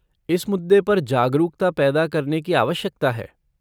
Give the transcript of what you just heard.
इस मुद्दे पर जागरूकता पैदा करने की आवश्यकता है।